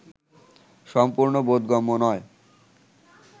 সম্পূর্ণ বোধগম্য নয়